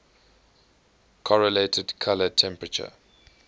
correlated color temperature